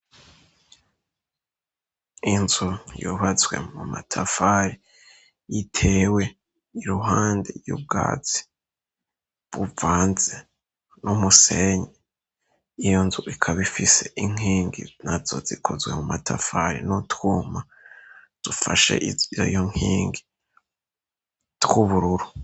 Inzu yubatswe mu matafari, itewe iruhande y'ubwatsi buvanze n'umusenyi. Iyo nzu ikaba ifise inkingi nazo zikozwe mu matafari n'utwuma dufashe izo nkingi tw'ubururu.